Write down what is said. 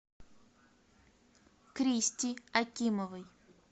кристи акимовой